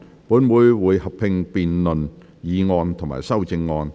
本會會合併辯論議案及修正案。